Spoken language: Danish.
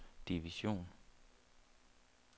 division